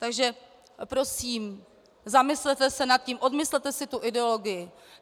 Takže prosím, zamyslete se nad tím, odmyslete si tu ideologii.